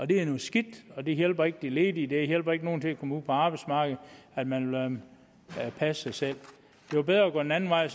det er noget skidt og det hjælper ikke de ledige det hjælper ikke nogen til at komme ud på arbejdsmarkedet at man lader dem passe sig selv det var bedre at gå den anden vej